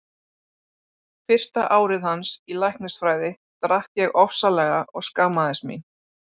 Fyrsta árið hans í læknisfræði drakk ég ofsalega og skammaðist mín.